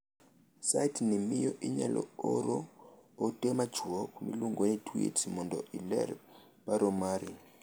Site ni miyo inyalo oro ote machuok miluongo ni tweets mondo iler paro mari.